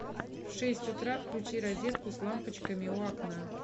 в шесть утра включи розетку с лампочками у окна